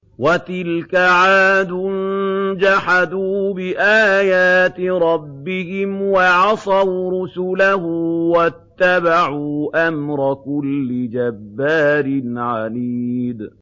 وَتِلْكَ عَادٌ ۖ جَحَدُوا بِآيَاتِ رَبِّهِمْ وَعَصَوْا رُسُلَهُ وَاتَّبَعُوا أَمْرَ كُلِّ جَبَّارٍ عَنِيدٍ